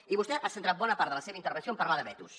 i vostè ha centrat bona part de la seva intervenció en parlar de vetos